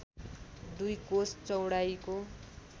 दुई कोस चौडाइको